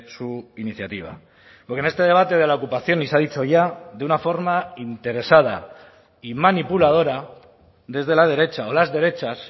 su iniciativa porque en este debate de la ocupación y se ha dicho ya de una forma interesada y manipuladora desde la derecha o las derechas